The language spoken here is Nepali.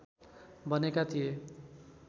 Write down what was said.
बनेका थिए